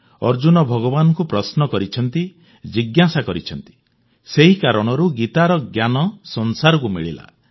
ଅର୍ଜୁନ ଭଗବାନଙ୍କୁ ପ୍ରଶ୍ନ କରିଛନ୍ତି ଜିଜ୍ଞାସା କରିଛନ୍ତି ସେହି କାରଣରୁ ଗୀତାର ଜ୍ଞାନ ସଂସାରକୁ ମିଳିଲା